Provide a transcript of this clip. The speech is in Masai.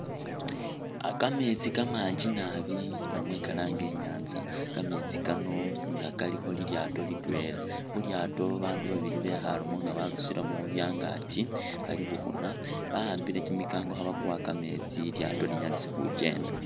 Ah kameetsi kamangi naabi namwe kalaange inyatsa, kameetsi kano nga kalikho lilyaato litwela, khulyaato babandu babandu babili bekhaalemo nga barusilemo byangakyi bali bukhuna bahambile kimikango khebakuwa kameetsi lilyaato linyalise khukyenda.